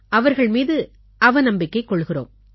அவர்கள் மீது அவநம்பிக்கை கொள்கிறோம்